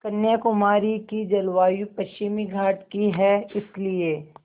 कन्याकुमारी की जलवायु पश्चिमी घाट की है इसलिए